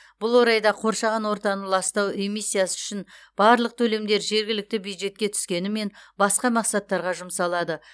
бұл орайда қоршаған ортаны ластау эмиссиясы үшін барлық төлемдер жергілікті бюджетке түскенімен басқа мақсаттарға жұмсалады